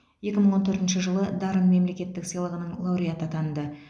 екі мың он төртінші жылы дарын мемлекеттік сыйлығының лауреаты атанды